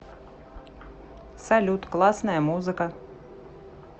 салют классная музыка